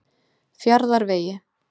Fjarðarvegi